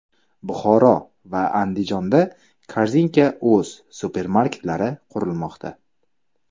Buxoro va Andijonda Korzinka.uz supermarketlari qurilmoqda.